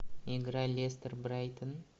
игра лестер брайтон